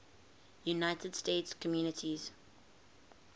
united states communities